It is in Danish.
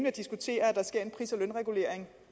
at diskutere at der sker en pris og lønregulering